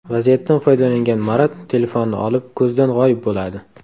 Vaziyatdan foydalangan Marat telefonni olib, ko‘zdan g‘oyib bo‘ladi.